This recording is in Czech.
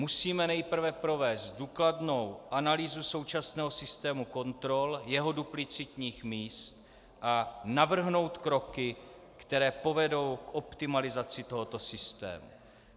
Musíme nejprve provést důkladnou analýzu současného systému kontrol, jeho duplicitních míst a navrhnout kroky, které povedou k optimalizaci tohoto systému.